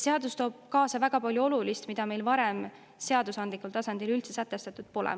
Seadus toob kaasa väga palju olulist, mis meil varem seadusandlikul tasandil üldse sätestatud pole olnud.